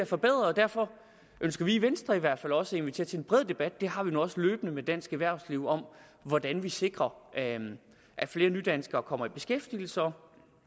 forbedret og derfor ønsker vi i venstre i hvert fald også at invitere til en bred debat den har vi nu også løbende med dansk erhvervsliv om hvordan vi sikrer at at flere nydanskere kommer i beskæftigelse og